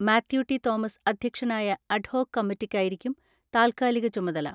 മാത്യു.ടി.തോമസ് അധ്യക്ഷനായ അഡ്ഹോക് കമ്മിറ്റിക്കായിരിക്കും താൽക്കാലിക ചുമതല.